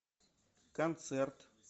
концерт